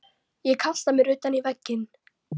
Ég kasta mér utan í vegginn.